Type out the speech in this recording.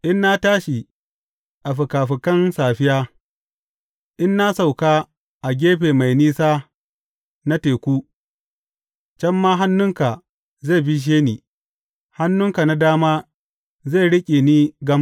In na tashi a fikafikan safiya, in na sauka a gefe mai nisa na teku, can ma hannunka zai bishe ni, hannunka na dama zai riƙe ni gam.